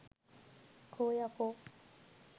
කෝ යකෝ